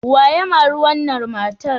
Wa ya mari wannan matar?